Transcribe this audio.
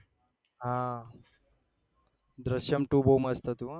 હા દ્રીશ્યમ ટુ બહુ મસ્ત હતી હા યાર